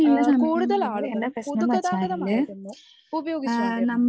ഏഹ് കൂടുതലാളുകളും പൊതുഗതാഗതമായിരുന്നു ഉപയോഗിച്ചു കൊണ്ടിരുന്നത്.